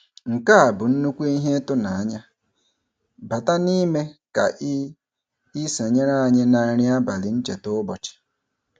Nke a bụ nnukwu ihe ịtụnanya - bata n'ime ka ị ị sonyere anyị na nri abalị ncheta ụbọchị.